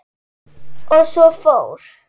Og svo fór.